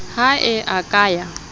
ha e a ka ya